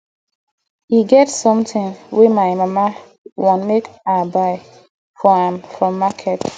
e get something wey my mama want make i buy for am from market